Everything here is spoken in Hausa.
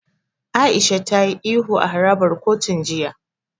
Aisha ta yi ihu a harabar kotun jiya.